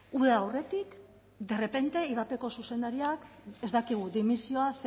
uda aurretik derrepente ivapeko zuzendariak ez dakigu dimisioa